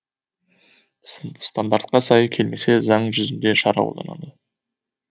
стандартқа сай келмесе заң жүзінде шара қолданады